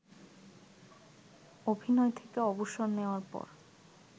অভিনয় থেকে অবসর নেয়ার পর